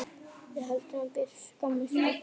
Við hefðum betur skammast okkar.